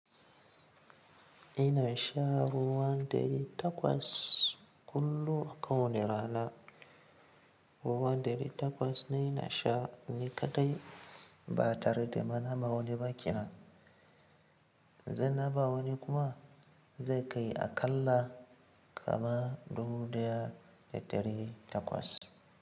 Ina sha ruwan ɗari takwas kullum a kowane rana. Ruwan ɗari takwas ne ina sha ni kaɗai ba tare da ma na ba wani ba ƙenan. Idan na ba wani kuma zai kai aƙalla kama dubu daya da dari takwas.